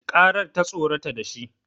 Karar ta tsorata shi